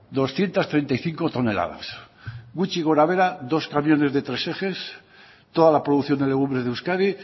doscientos treinta y cinco toneladas gutxi gorabehera dos camiones de tres ejes toda la producción de legumbres de euskadi